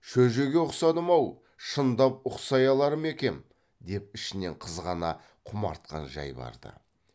шөжеге ұқсадым ау шындап ұқсай алар ма екем деп ішінен қызғана құмартқан жай бар ды